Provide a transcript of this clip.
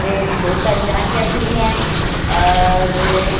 रे एक बहोत सारी झाटिया खड़ी है और --